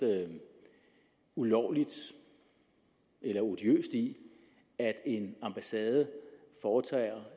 ulovligt eller odiøst i at en ambassade foretager